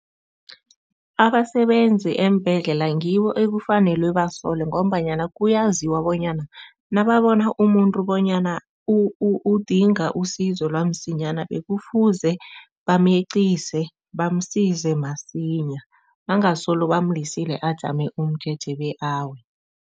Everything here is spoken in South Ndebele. Abasebenzi eembhedlela ngibo ekufanelwe basolwe ngombanyana kuyaziwa bonyana nababona umuntu bonyana udinga usizo lwamsinyana, bekufuze bameqise, bamsize masinya bangasolo bamlisile ajame umjeje bekawe.